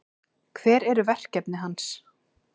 Hver eru verkefni hans?